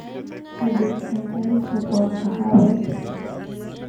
Chebet kaikai chobwo kahawek